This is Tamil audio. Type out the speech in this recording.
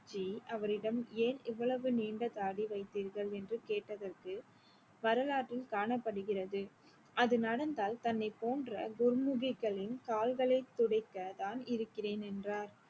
ஜி அவரிடம் ஏன் இவ்வளவு நீண்ட தாடி வைத்தீர்கள் என்று கேட்டதற்கு வரலாற்றில் காணப்படுகிறது அது நடந்தால் தன்னை போன்ற குர்முகிக்களின் கால்களை துடைக்க தான் இருக்கிறேன் என்றார்